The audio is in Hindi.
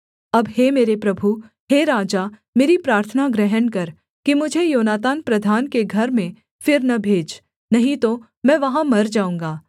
अब हे मेरे प्रभु हे राजा मेरी प्रार्थना ग्रहण कर कि मुझे योनातान प्रधान के घर में फिर न भेज नहीं तो मैं वहाँ मर जाऊँगा